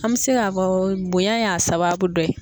An bi se k'a fɔ bonya y'a sababu dɔ ye.